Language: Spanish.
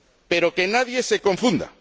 Pero que nadie se confunda.